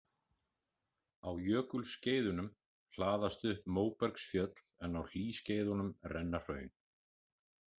Á jökulskeiðunum hlaðast upp móbergsfjöll en á hlýskeiðunum renna hraun.